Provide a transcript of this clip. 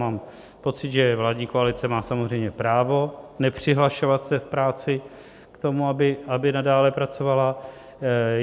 Mám pocit, že vládní koalice má samozřejmě právo nepřihlašovat se v práci k tomu, aby nadále pracovala.